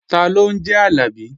Taló ń jẹ́ Àlàbí?